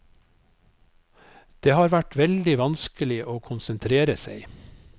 Det har vært veldig vanskelig å konsentrere seg.